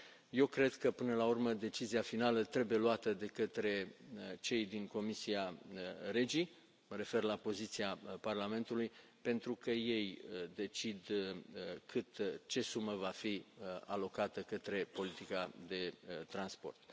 Eu cred că, până la urmă, decizia finală trebuie luată de către cei din Comisia REGI, mă refer la poziția Parlamentului, pentru că ei decid ce sumă va fi alocată către politica de transport.